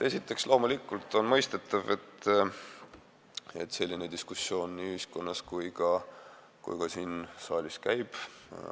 Esiteks, loomulikult on mõistetav, et selline diskussioon nii ühiskonnas kui ka siin saalis käib.